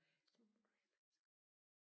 Sådan noget må du heller ikke sige